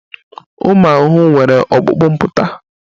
Ụmụ ahụhụ nwere ọkpụkpụ mpụta